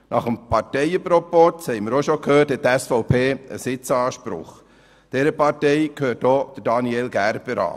Nach dem Parteienproporz hat die SVP einen Sitzanspruch, und dieser Partei gehört auch Daniel Gerber an.